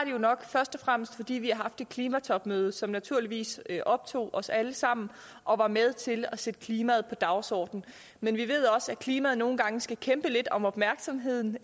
jo nok først og fremmest fordi vi har haft et klimatopmøde som naturligvis optog os alle sammen og var med til at sætte klimaet på dagsordenen men vi ved også at klimaet nogle gange skal kæmpe lidt om opmærksomheden